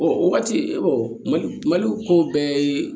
O waati ee mali ko bɛɛ ye